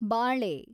ಬಾಳೆ